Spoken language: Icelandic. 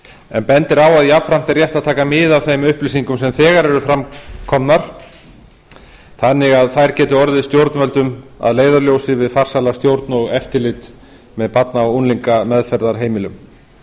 en bendir á að jafnframt er rétt að taka mið af þeim upplýsingum sem þegar eru komnar fram þannig að þær geti orðið stjórnvöldum að leiðarljósi við farsæla stjórn og eftirlit með barna og unglingameðferðarheimilum